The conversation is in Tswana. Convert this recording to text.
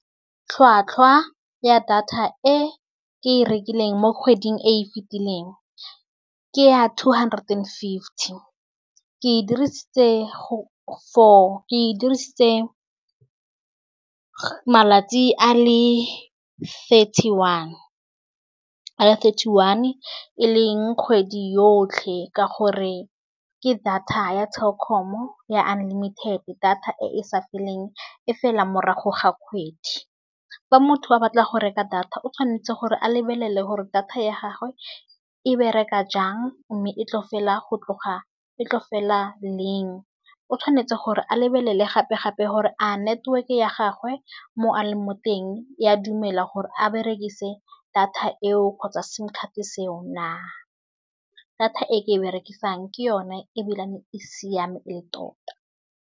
Tlhwatlhwa ya data e ke e rekileng mo kgweding e fitileng. Ke ya two hundred and fifty ke e dirisetse for ke e dirisitse malatsi a le thirty one . Eleng kgwedi yotlhe ka gore ke data ya Telkom-o ya unlimited. Data e e sa feleng e fela morago ga kgwedi. Fa motho a batla go reka data o tshwanetse gore a lebelele gore data ya gagwe e bereka jang mme e tlo fela go tloga e tlo fela leng. O tshwanetse gore a lebelele gape gape gore a network ya gagwe mo a leng mo teng e a dumela gore a berekise data eo kgotsa simcard seo . Data e ke e berekisang ke yone ebile e siame e le tota.